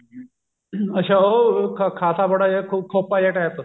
ਅੱਛਾ ਉਹ ਖ਼ਾਸਾ ਬੜਾ ਜਾ ਖੋਪਾ ਜਾ ਟੈਪ